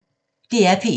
DR P1